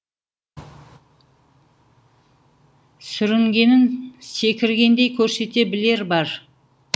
сүрінгенін секіргендей көрсете білер бар